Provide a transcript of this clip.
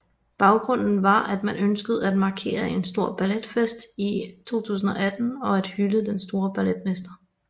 Baggrunden var at man ønskede at markere en stor balletfestival i 2018 og at hylde den store balletmester